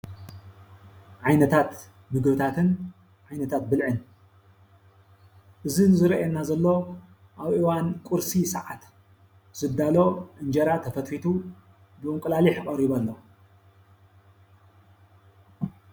ዓይነታት ምግብታትን ዓይነታት ብልዕን እዚ ንሪኦ ዝረአየና ዘሎ ኣብ እዋን ቁርሲ ሰዓት ዝዳሎ እንጀራ ተፈትፊቱ ብእንቁላሊሕ ቀሪቡ ኣሎ ።